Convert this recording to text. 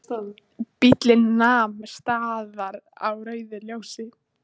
Bíllinn nam staðar á rauðu ljósi.